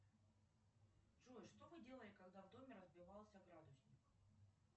джой что вы делали когда в доме разбивался градусник